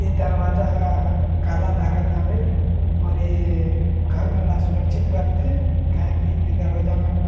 ए दरवजा ह ह काला लागो थवे और ये घर मन ल सुरक्षित रखथे काहे की ए दरवाजा मन ला--